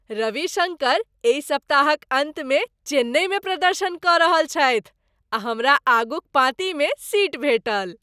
रविशङ्कर एहि सप्ताहक अन्तमे चेन्नईमे प्रदर्शन कऽ रहल छथि आ हमरा आगूक पाँतिमे सीट भेंटल!